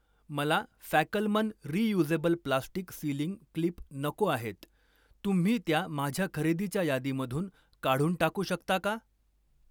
मला Fackelmann reusable plastic sealing clip नको आहेत, तुम्ही त्या माझ्या खरेदीच्या यादीमधून काढून टाकू शकता का?